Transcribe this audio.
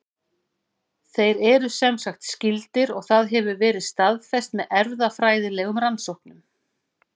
Þeir eru semsagt skyldir og það hefur verið staðfest með erfðafræðilegum rannsóknum.